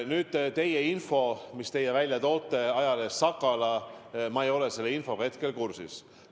Nüüd see info, mille te ajalehest Sakala välja tõite – ma ei ole sellega kursis.